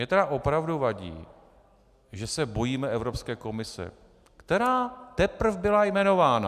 Mně tedy opravdu vadí, že se bojíme Evropské komise, která teprv byla jmenována!